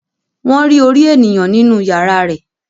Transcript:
Wọ́n rí orí ènìyàn nínú yàrá rẹ̀